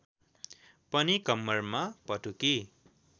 पनि कम्मरमा पटुकी